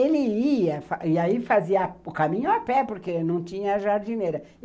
Ele ia, e aí fazia o caminho a pé, porque não tinha jardineira.